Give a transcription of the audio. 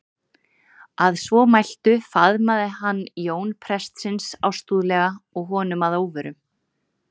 Að svo mæltu faðmaði hann Jón prestsins ástúðlega og honum að óvörum.